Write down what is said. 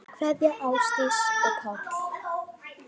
Kveðja Ásdís og Páll.